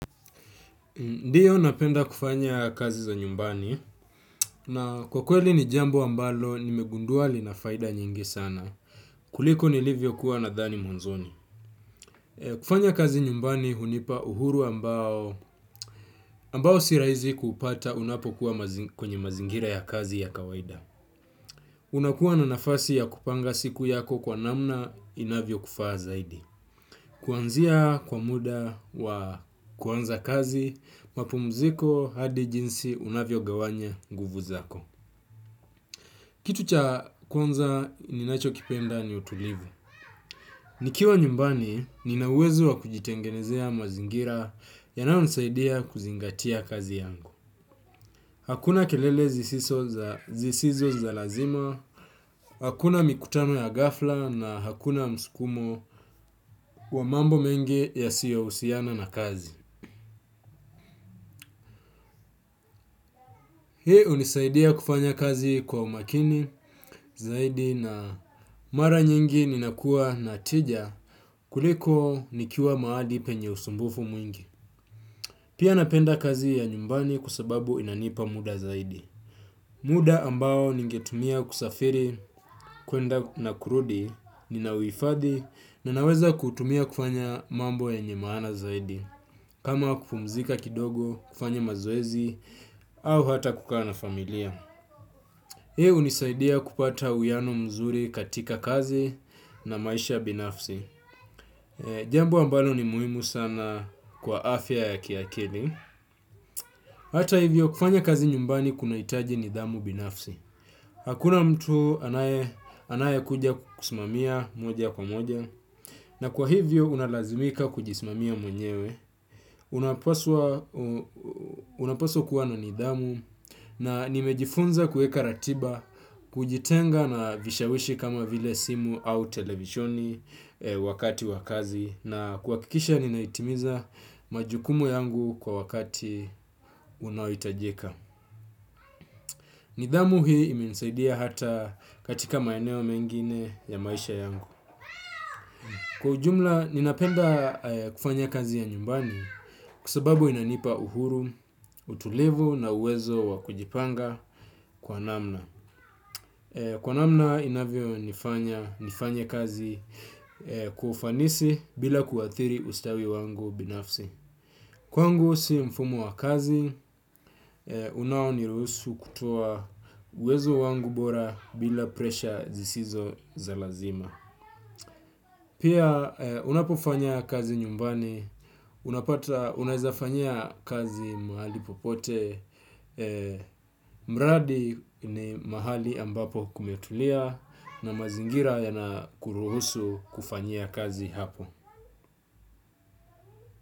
Ndiyo napenda kufanya kazi za nyumbani na kwa kweli ni jambo ambalo nimegundua linafaida nyingi sana. Kuliko nilivyo kuwa na thani mwanzoni. Kufanya kazi nyumbani hunipa uhuru ambao, ambao sirahizi kupata unapo kuwa kwenye mazingira ya kazi ya kawaida. Unakuwa na nafasi ya kupanga siku yako kwa namna inavyo kufaa zaidi. Kwanzia kwa muda wa kuanza kazi mapumziko hadi jinsi unavyo gawanya nguvu zako. Kitu cha kwanza ninacho kipenda ni utulivu. Nikiwa nyumbani, ninuawezo wa kujitengenezea mazingira yanao nisaidia kuzingatia kazi yangu. Hakuna kelele zisizo za lazima, hakuna mikutano ya gafla na hakuna msukumo wa mambo mengi yasiyo husiana na kazi. Hiii hunisaidia kufanya kazi kwa umakini zaidi na mara nyingi ninakua natija kuliko nikiwa mahadi penye usumbufu mwingi. Pia napenda kazi ya nyumbani kwa sababu inanipa muda zaidi. Muda ambao ningetumia kusafiri kwenda na kurudi ninahuifadhi na naweza kutumia kufanya mambo yenye mana zaidi. Kama kupumzika kidogo kufanya mazoezi au hata kukaa na familia. Hii hunisaidia kupata uwiano mzuri katika kazi na maisha binafsi. Jambo ambalo ni muhimu sana kwa afya ya kiakili. Hata hivyo kufanya kazi nyumbani kuna hitaji nidhamu binafsi. Hakuna mtu anaye kuja kukusimamia moja kwa moja. Na kwa hivyo unalazimika kujismamia mwenyewe. Unapaswa kuwa na nidhamu. Na nimejifunza kueka ratiba kujitenga na vishawishi kama vile simu au televishoni. Wakati wa kazi na kuhakikisha ninahitimiza majukumu yangu kwa wakati unaohitajika. Nidhamu hii imenisaidia hata katika maeneo mengine ya maisha yangu. Kwa ujumla, ninapenda kufanya kazi ya nyumbani kwasababu inanipa uhuru, utulivu na uwezo wakujipanga kwa namna. Kwa namna inavyo nifanya nifanye kazi kwa ufanisi bila kuathiri ustawi wangu binafsi. Kwangu si mfumo wa kazi unaoniruhusu uwezo wangu bora bila presha zisizo za lazima. Pia unapofanya kazi nyumbani, unapata, unaezafanyia kazi mahali popote, mradi ni mahali ambapo kumetulia na mazingira ya na kuruhusu kufanyia kazi hapo.